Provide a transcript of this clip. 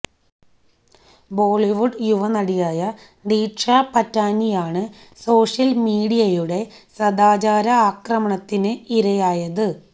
ബോളിവുഡ് യുവനടിയായ ദിഷാ പറ്റാനിയാണ് സോഷ്യൽ മീഡിയയുടെ സദാചാര ആക്രമണത്തിന് ഇരയായത്